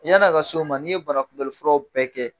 yani a ka se o ma n'i ye banakunbɛli furaw bɛɛ kɛ